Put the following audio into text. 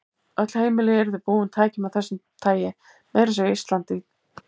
Öll heimili yrðu búin tækjum af þessu tagi, meira að segja á Íslandi.